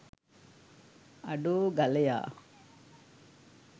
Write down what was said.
අඩෝ ගලයා